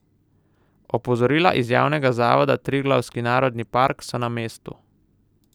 Opozorila iz javnega zavoda Triglavski narodni park so na mestu.